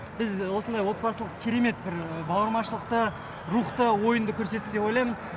біз осындай отбасылық керемет бір бауырмашылықты рухты ойынды көрсеттік деп ойлаймын